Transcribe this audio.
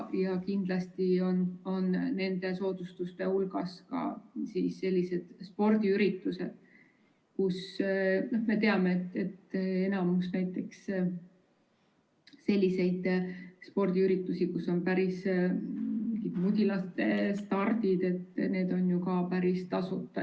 Ja kindlasti on nende soodustuste hulgas ka sellised spordiüritused – näiteks spordiüritused, kus on mudilaste stardid –, mis on päris tasuta.